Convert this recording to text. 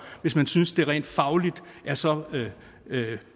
hvis man synes at det rent fagligt er så